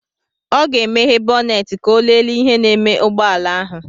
Ọ ga-emeghe bọnet ka ọ lele ihe na-eme ụgbọala ahụ.